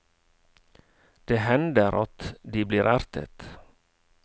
Det hender at de blir ertet.